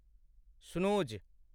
Snooze.